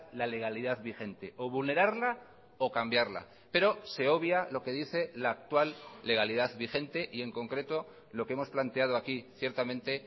la legalidad vigente o vulnerarla o cambiarla pero se obvia lo que dice la actual legalidad vigente y en concreto lo que hemos planteado aquí ciertamente